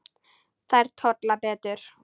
Þær tolla betur.